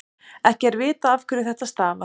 ekki er vitað afhverju þetta stafar